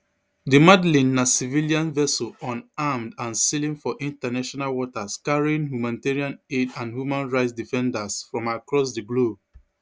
di madleen na civilian vessel unarmed and sailing for international waters carrying humanitarian aid and human rights defenders from across di globe